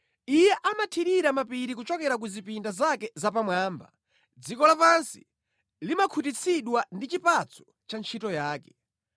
Iye amathirira mapiri kuchokera ku zipinda zake zapamwamba; dziko lapansi limakhutitsidwa ndi chipatso cha ntchito yake.